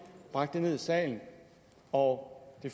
bragt det ned i salen og det